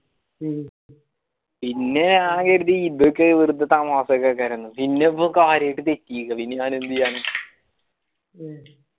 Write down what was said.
പിന്നെ ഞാൻ കരുതി ഇതൊക്കെ വെറുതെ തമാസകക്കയര്ന്നു പിന്നീട് കാര്യായിട്ട് തെറ്റി പിന്നെ ഞാൻ എന്തായാന